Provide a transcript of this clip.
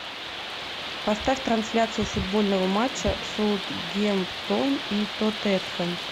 поставь трансляцию футбольного матча саутгемптон и тоттенхэм